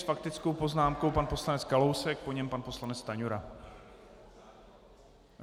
S faktickou poznámkou pan poslanec Kalousek, po něm pan poslanec Stanjura.